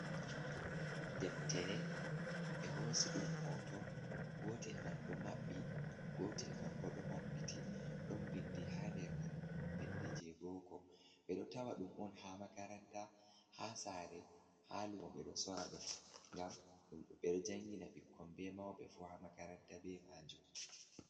Deftere ɓe hoosi ɗum hooto, gootel man ɗo maɓɓi, gootel man bo ɗo maɓɓiti, ɗon binndi haa nder man, binndi jey booko ɓe ɗo tawa ɗum on haa makaranta, haa saare, haa luumo, ɓe ɗo soora ɗum ngam ɓe ɗo jangina ɓikkon, be mawɓe fuu, haa makaranta be maajum.